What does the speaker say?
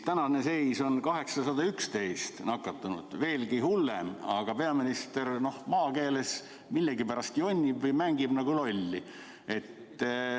Tänane seis on 811 nakatunut, veelgi hullem, aga peaminister maakeeles öeldes millegipärast jonnib või mängib lolli.